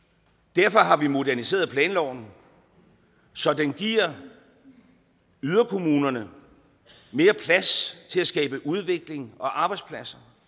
derfor har vi moderniseret planloven så den giver yderkommunerne mere plads til at skabe udvikling og arbejdspladser